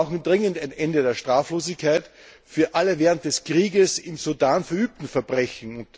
Wir brauchen dringend ein Ende der Straflosigkeit für alle während des Krieges im Sudan verübten Verbrechen.